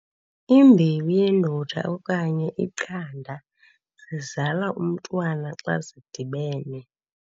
Imbewu yendoda okanye iqanda zizala umntwana xa zidibene.